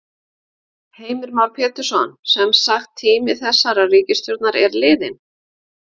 Heimir Már Pétursson: Semsagt tími þessarar ríkisstjórnar er liðinn?